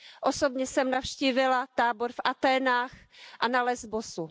Osobně jsem navštívila tábor v Aténách a na Lesbosu.